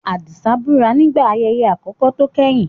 Adisa búra nígbà ayẹyẹ àkọ́kọ́ tó kẹ́yìn.